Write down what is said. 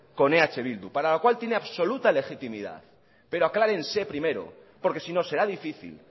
con eh bildu para lo cual tiene absoluta legitimidad pero aclárense primero porque si no será difícil